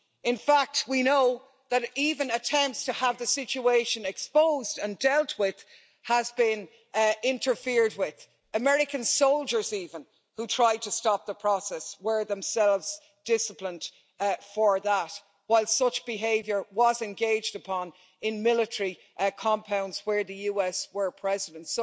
In fact, we know that even attempts to have the situation exposed and dealt with have been interfered with. American soldiers even, who tried to stop the process, were themselves disciplined for that, while such behaviour was engaged upon in military compounds where the US was present.